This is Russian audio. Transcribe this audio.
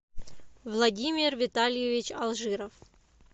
владимир витальевич алжиров